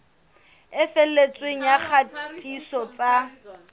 e felletseng ya kgatiso tsa